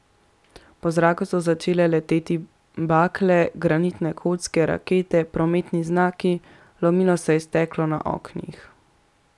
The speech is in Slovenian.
Po zraku so začele leteti bakle, granitne kocke, rakete, prometni znaki, lomilo se je steklo na oknih.